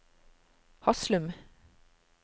Haslum